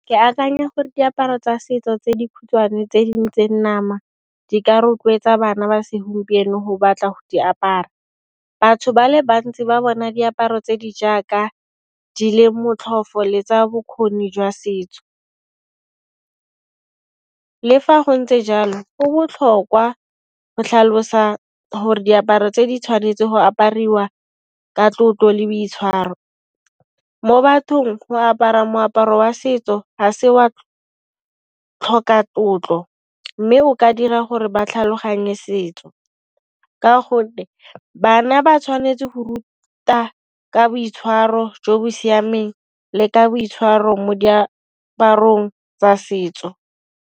Ke akanya gore diaparo tsa setso tse dikhutshwane tse dintseng nama di ka rotloetsa bana ba segompieno go batla go di apara, batho ba le bantsi ba bona diaparo tse di jaaka di le motlhofo le tsa bokgoni jwa setso. Le fa go ntse jalo go botlhokwa go tlhalosa gore diaparo tse di tshwanetseng go apariwa ka tlotlo le boitshwaro. Mo bathong go apara moaparo wa setso gase wa tlhoka tlotlo mme o ka dira gore ba tlhaloganye setso ka gonne bana ba tshwanetse go ruta ka boitshwaro jo bo siameng le ka boitshwaro mo diaparong tsa setso.